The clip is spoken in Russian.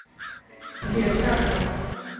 сбер как там